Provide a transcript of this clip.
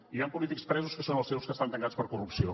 i hi han polítics presos que són els seus que estan tancats per corrupció